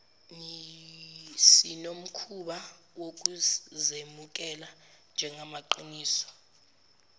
sinomkhuba wokuzemukela njengamaqiniso